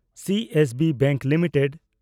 CSB bank limited